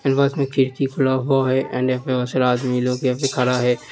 इस बस में खिड़की की खुला हुआ है एंड मिलो के खड़ा है।